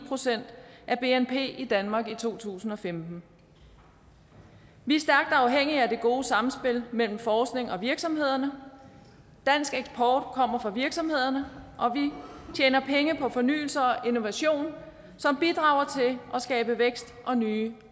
procent af bnp i danmark i to tusind og femten vi er stærkt afhængige af det gode sammenspil mellem forskning og virksomheder dansk eksport kommer fra virksomhederne og vi tjener penge på fornyelse og innovation som bidrager til at skabe vækst og nye